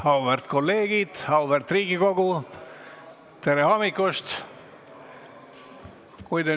Auväärt kolleegid, auväärt Riigikogu, tere hommikust!